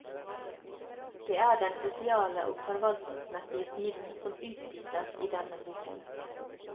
Det er den sosiale og forvaltningsmessige siden som utdypes i denne boken.